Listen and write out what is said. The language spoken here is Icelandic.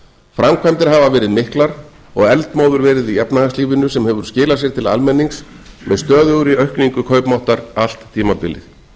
framkvæmdir hafa verið miklar og eldmóður verið í efnahagslífinu sem hefur skilað sér til almennings með stöðugri aukningu kaupmáttar allt tímabilið